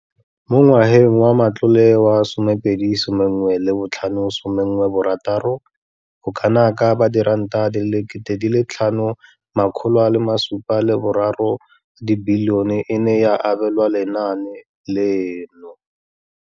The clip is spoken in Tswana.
Mo ngwageng wa matlole wa 2015 16, bokanaka R5 703 di bilione e ne ya abelwa lenaane leno.